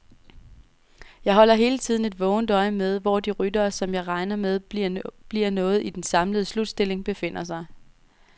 Jeg holder hele tiden vågent øje med, hvor de ryttere, som jeg regner med bliver noget i den samlede slutstilling, befinder sig.